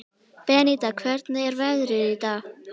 Beníta, hvernig er veðrið í dag?